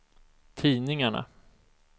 tidningarna